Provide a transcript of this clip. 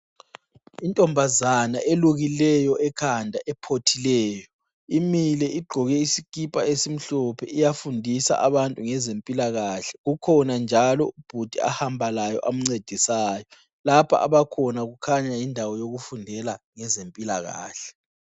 Intombazana elukileyo ekhanda ephothileyo imile igqoke isikipa esimhlophe iyafundisa abantu ngezempilakahle. Kukhona njalo ubhudi ahamba laye amncedisayo. Lapha abakhona kukhanya yindawo yokufundela ngezempilakahle.